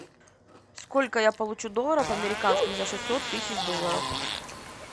сколько я получу долларов американских за шестьсот тысяч долларов